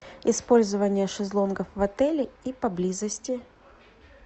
использование шезлонгов в отеле и поблизости